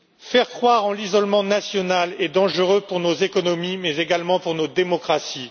Faire croire en l'isolement national est dangereux pour nos économies mais également pour nos démocraties.